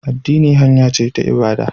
Addini hanya ce ta ibada